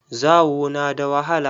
Zawo na da wahala.